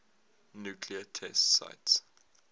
nuclear test sites